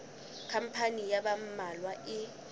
khampani ya ba mmalwa e